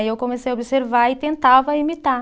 Aí eu comecei a observar e tentava imitar.